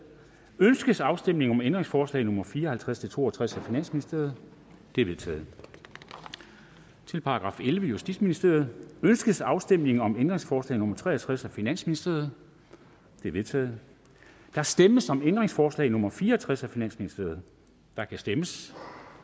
ønskes afstemning om ændringsforslag nummer fire og halvtreds til to og tres af finansministeren de er vedtaget til § ellevte justitsministeriet ønskes afstemning om ændringsforslag nummer tre og tres af finansministeren det er vedtaget der stemmes om ændringsforslag nummer fire og tres af finansministeren og der kan stemmes